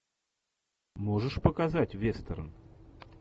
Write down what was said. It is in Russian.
можешь показать вестерн